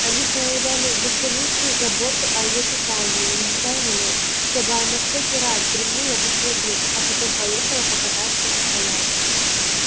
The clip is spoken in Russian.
они проявляли бесконечную заботу о её питании настаивали чтобы она всякий раз вздремнула после обеда а потом поехала покататься в коляске